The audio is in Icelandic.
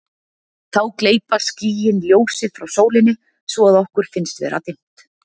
þá gleypa skýin ljósið frá sólinni svo að okkur finnst vera dimmt